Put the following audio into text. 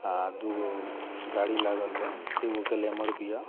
आ दू गो गाड़ी लागल बा एगो ग्लैमर भी हअ।